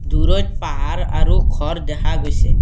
দূৰৈত পাহাৰ আৰু ঘৰ দেখা গৈছে।